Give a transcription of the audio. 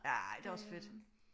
Ej det er også fedt